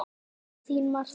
Þín Marta.